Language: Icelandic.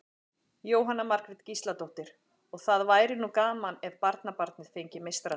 Jóhanna Margrét Gísladóttir: Og það væri nú gaman ef barnabarnið fengi meistaratitil?